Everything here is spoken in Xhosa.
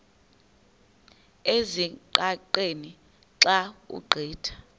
ezingqaqeni xa ugqitha